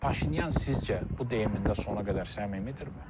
Paşinyan sizcə bu deyimində sona qədər səmimidirmi?